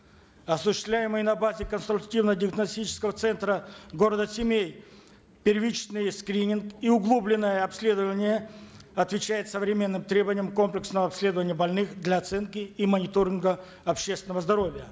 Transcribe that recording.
осуществляемые на базе конструктивно диагностического центра города семей первичный скрининг и углубленное обследование отвечают современным требованиям комплексного обследования больных для оценки и мониторинга общественного здоровья